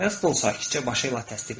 Heston sakitcə başı ilə təsdiqlədi.